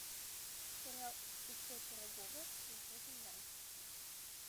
сериал ип пирогова смотреть онлайн